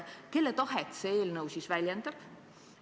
Kelle tahet see eelnõu väljendab?